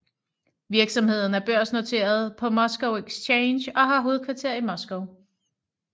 Virksomheden er børsnoteret på Moscow Exchange og har hovedkvarter i Moskva